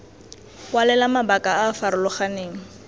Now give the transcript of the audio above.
kwalela mabaka a a farologaneng